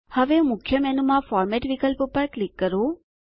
હવે મુખ્ય મેનૂમાં ફોર્મેટ વિકલ્પ પર ક્લિક કરો